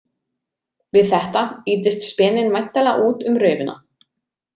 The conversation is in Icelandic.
Við þetta ýtist speninn væntanlega út um raufina.